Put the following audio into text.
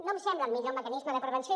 no em sembla el millor mecanisme de prevenció